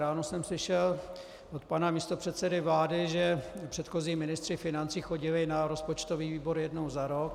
Ráno jsem slyšel od pana místopředsedy vlády, že předchozí ministři financí chodili na rozpočtový výbor jednou za rok.